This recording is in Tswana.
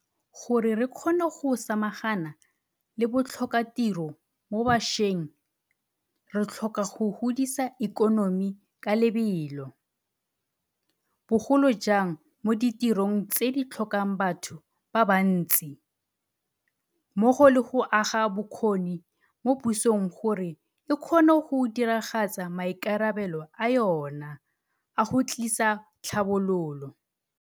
Gore re kgone go samagana le botlhokatiro mo bašweng re tlhoka go godisa ikonomi ka lebelo, bogolo jang mo ditirong tse di tlhokang batho ba bantsi, mmogo le go aga bokgoni mo pusong gore e kgone go diragatsa maikarabelo a yona a go tlisa tlhabololo.